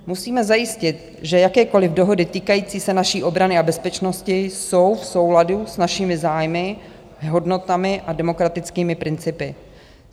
Musíme zajistit, že jakékoliv dohody týkající se naší obrany a bezpečnosti jsou v souladu s našimi zájmy, hodnotami a demokratickými principy.